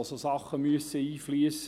Dort müssen solche Dinge einfliessen.